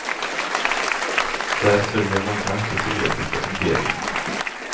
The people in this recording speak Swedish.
Där sörjer många det sovjetiska imperiet.